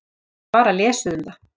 Ég hef bara lesið um það.